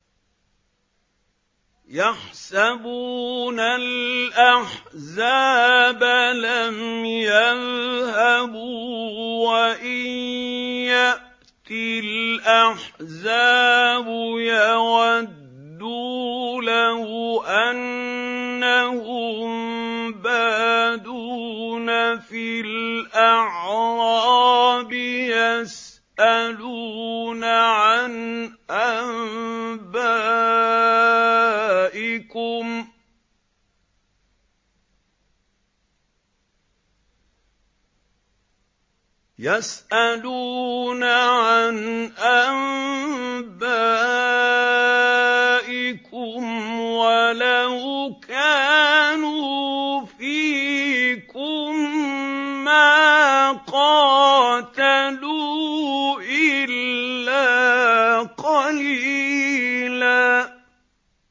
يَحْسَبُونَ الْأَحْزَابَ لَمْ يَذْهَبُوا ۖ وَإِن يَأْتِ الْأَحْزَابُ يَوَدُّوا لَوْ أَنَّهُم بَادُونَ فِي الْأَعْرَابِ يَسْأَلُونَ عَنْ أَنبَائِكُمْ ۖ وَلَوْ كَانُوا فِيكُم مَّا قَاتَلُوا إِلَّا قَلِيلًا